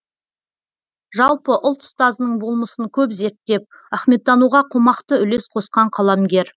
жалпы ұлт ұстазының болмысын көп зерттеп ахметтануға қомақты үлес қосқан қаламгер